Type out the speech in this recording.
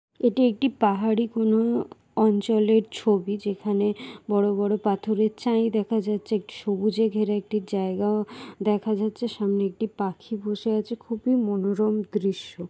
একটি পাহাড়ি কোন অঞ্চলের ছবি। যেখানে বড় বড় পাথরের চাই দেখা যাচ্ছে। একটি সবুজে ঘেরা একটি জায়গা দেখা যাচ্ছে। সামনে একটি পাখি বসে আছে খুবই মনোরম দৃশ্য।